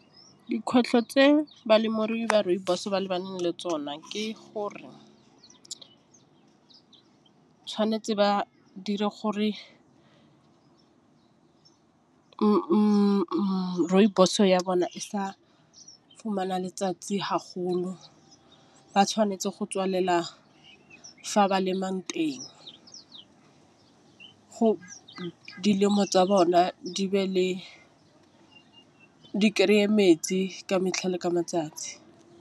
Dikgwetlho tse balemirui ba rooibos ba lebane le tsona ke gore tšhwanetse ba dire gore , rooibos ya bona e sa fumana letsatsi haholo ba tšhwanetse go tswalela fa ba lemang teng. Go ditemo tsa bona di be le di kry-e metsi ka metlhale ka matsatsi.